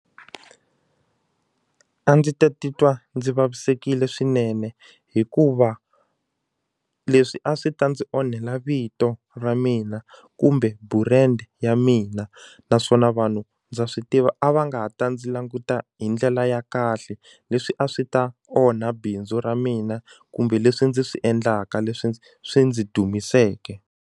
A ndzi ta titwa ndzi vavisekile swinene hikuva leswi a swi ta ndzi onhela vito ra mina kumbe burendi ya mina naswona vanhu ndza swi tiva a va nga ha ta ndzi languta hi ndlela ya kahle leswi a swi ta onha bindzu ra mina kumbe leswi ndzi swi endlaka leswi ndzi swi ndzi dumiseke.